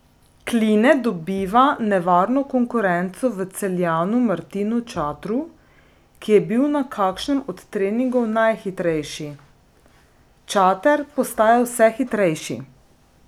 Kline dobiva nevarno konkurenco v Celjanu Martinu Čatru, ki je bil na kakšnem od treningov najhitrejši: "Čater postaja vse hitrejši.